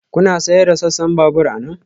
Kuna sayar da sassan babur anan?